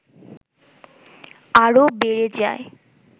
আরো বেড়ে যায়